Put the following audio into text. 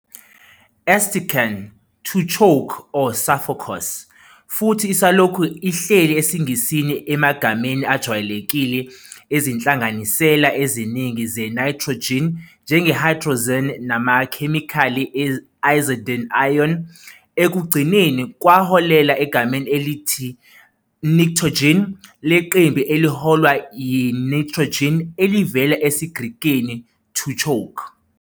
Ersticken "to choke or suffocos", futhi isalokhu ihleli esiNgisini emagameni ajwayelekile ezinhlanganisela eziningi ze-nitrogen, njenge-hydrazine namakhemikhali e-azide ion. Ekugcineni, kwaholela egameni elithi "pnictogens" leqembu eliholwa yi-nitrogen, elivela esiGrekini πνίγειν "to choke".